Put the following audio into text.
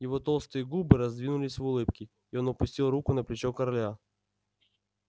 его толстые губы раздвинулись в улыбке и он опустил руку на плечо короля